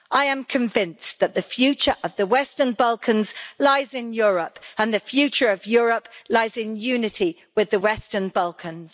I am convinced that the future of the Western Balkans lies in Europe and the future of Europe lies in unity with the Western Balkans.